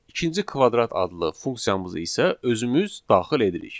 İkinci kvadrat adlı funksiyamızı isə özümüz daxil edirik.